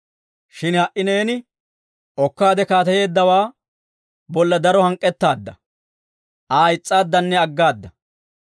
Shin ha"i neeni okkaade kaateyeeddawaa bolla daro hank'k'ettaadda; Aa is's'aaddanne aggaada.